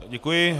Děkuji.